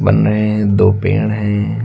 बन रहे हैं दो पेड़ हैं।